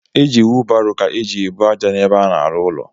E ji wụbarọ ka eje ebu àjà n’ebe a na-arụ ụlọ